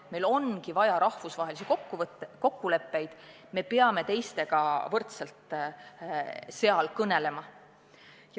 Meil ongi vaja rahvusvahelisi kokkuleppeid, aga me peame teistega võrdselt nende sõlmimisel kõnelema.